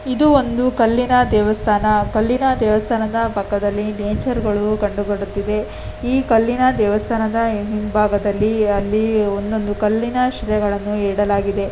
ಇದು ಒಂದು ಕಲ್ಲಿನ ದೇವಸ್ಥಾನ ಕಲ್ಲಿನ ದೇವಸ್ಥಾನದ ಪಕ್ಕದಲ್ಲಿ ನೇಚರ್ ಕಂಡು ಬರುತ್ತದೆ ಈ ಕಲ್ಲಿನ ದೇವಸ್ಥಾನದ ಹಿಂಭಾಗದಲ್ಲಿ ಅಲ್ಲಿ ಒಂದೊಂದು ಕಲ್ಲಿನ ಶಿಲೆಗಳನ್ನು ಇಡಲಾಗಿದೆ.